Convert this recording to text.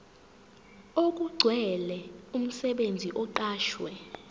okugcwele umsebenzi oqashwe